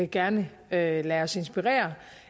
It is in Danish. gerne lader os inspirere